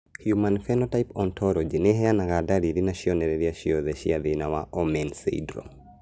Human Phenotype Ontology ĩheanaga ndariri na cionereria ciothe cia thĩna wa Omenn syndrome